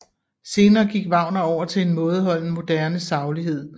Senere gik Wagner over til en mådeholden moderne saglighed